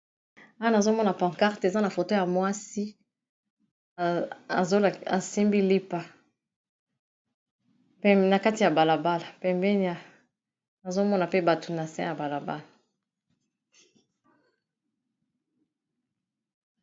Awana azomona pancarte eza na foto ya mwasi esembi lipa na kati ya balabala pembeni azomona pe bato nase ya balabala